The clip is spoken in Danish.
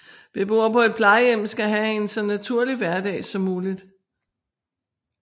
Beboer på et plejehjem skal have en så naturlig hverdag som muligt